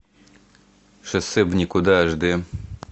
шоссе в никуда аш д